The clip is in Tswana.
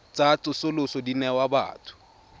tsa tsosoloso di newa batho